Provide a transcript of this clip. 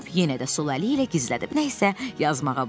Tom yenə də sol əli ilə gizlədib nə isə yazmağa başladı.